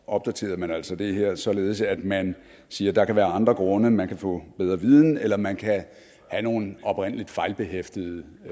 opdaterede man altså det her således at man siger at der kan være andre grunde man kan få bedre viden eller man kan have nogle oprindelig fejlbehæftede